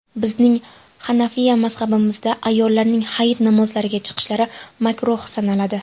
Bizning hanafiya mazhabimizda ayollarning hayit namozlariga chiqishlari makruh sanaladi.